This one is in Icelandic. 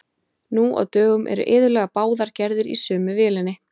Nú á dögum eru iðulega báðar gerðir í sömu vélinni.